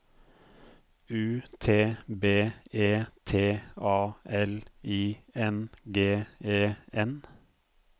U T B E T A L I N G E N